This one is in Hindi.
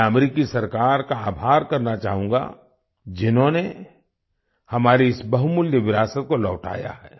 मैं अमेरिकी सरकार का आभार करना चाहूँगा जिन्होंने हमारी इस बहुमूल्य विरासत को लौटाया है